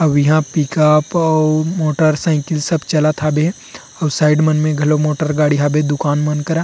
अउ इहा पिकअप अउ मोटर साइकिल सब चलत हाबे अउ साइड मन में घलो मोटर गाड़ी हाबे दुकान मन करा--